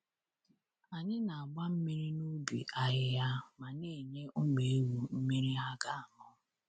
Anyị na-agba mmiri n’ubi ahịhịa ma na-enye ụmụ ewu mmiri ha ga-aṅụ.